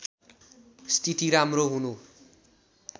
स्थिति राम्रो हुनु